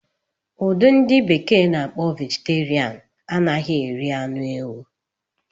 Udi ndi bekee n'akpo Vegeterian anaghị eri anụ ewu